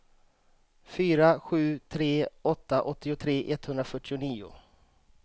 fyra sju tre åtta åttiotre etthundrafyrtionio